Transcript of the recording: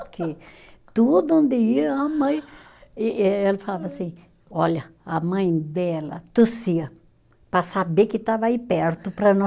Porque todo dia a mãe e eh, ele falava assim, olha, a mãe dela tossia para saber que estava aí perto para não